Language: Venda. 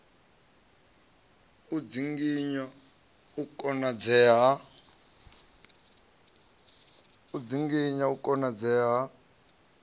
u dzinginya u konadzea ha